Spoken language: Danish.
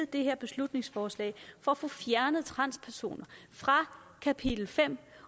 det her beslutningsforslag for at få fjernet transpersoner fra kapitel fem